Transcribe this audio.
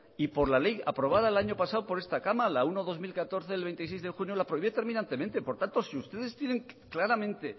y por la ley aprobada el año pasado por esta cámara la uno barra dos mil catorce del veintiséis de junio la prohibió terminantemente por tanto si ustedes tienen claramente